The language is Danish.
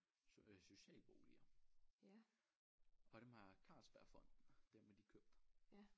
Socialboliger og dem har Carlsbergfondet dem har de købt